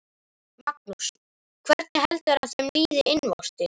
Magnús: Hvernig heldurðu að þeim líði innvortis?